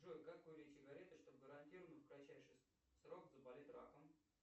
джой как курить сигареты чтобы гарантированно в кратчайший срок заболеть раком